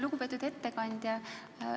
Lugupeetud ettekandja!